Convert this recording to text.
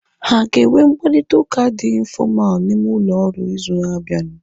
Ha aga enwe mkparịta ụka dị infọmalu n'ime ụlọ ọrụ ịzụ na abianu